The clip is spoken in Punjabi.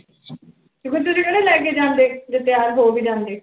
ਕਿ ਫਿਰ ਤੁਸੀਂ ਕਿਹੜਾ ਲੈ ਕੇ ਜਾਂਦੇ, ਜੇ ਤਿਆਰ ਹੋ ਵੀ ਜਾਂਦੀ।